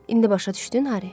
İndi başa düşdün Hari?